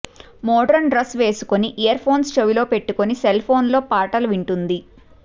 modern dress వేసుకుని earphones చెవిలో పెట్టుకుని సెల్ఫోన్లో పాటలు వింటూంది